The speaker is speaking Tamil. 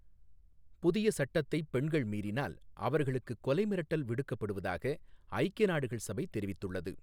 புதிய சட்டத்தைப் பெண்கள் மீறினால் அவர்களுக்குக் கொலை மிரட்டல் விடுக்கப்படுவதாக ஐக்கிய நாடுகள் சபை தெரிவித்துள்ளது.